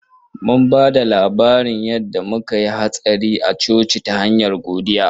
Mun ba da labarin yanda muka ya hatsari a coci ta hanyar godiya